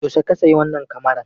Yaushe ka sayi wannan kamaran?